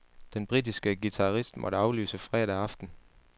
Den britiske guitarist måtte aflyse fredag aften.